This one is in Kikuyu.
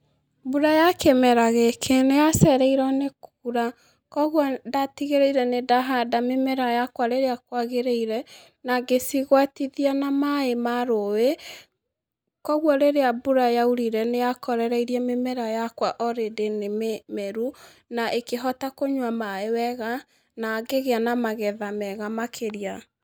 Mbura ya kĩmera gĩkĩ nĩ yacereirwo nĩ kuura. Kogwo ndatigĩrĩire nĩ ndahanda mĩmera yakwa rĩrĩa kwagĩrĩire, na ngĩcigwatithia na maaĩ ma rũũĩ, kogwo rĩrĩa mbura yaurire nĩ yakorereirie mĩmera yakwa already nĩ mĩmeru, na ĩkĩhota kũnyua maaĩ wega, na ngĩgĩa na magetha mega makĩria.